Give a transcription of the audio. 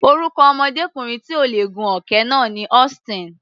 Orúkọ ọmọdékùnrin tí ò lè gun òkè náà ni Austin.